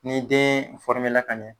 Ni den ka ɲɛ